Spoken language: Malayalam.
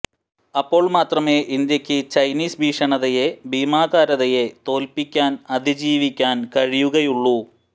അപ്പോൾ മാത്രമേ ഇന്ത്യയ്ക്ക് ചൈനീസ് ഭീഷണതയെ ഭീമാകാരതയെ തോല്പിക്കാൻ അതിജീവിക്കാൻ കഴിയുകയുള്ളൂ